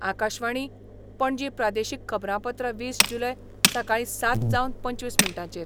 आकाशवाणी, पणजी प्रादेशीक खबरांपत्र वीस जुलय, सकाळी सात जावन पंचवीस मिनटांचेर